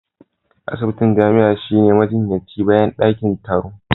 Asibitin jami'a shine majinyacin bayan dakin taro